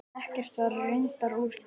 Ekkert var reyndar úr því.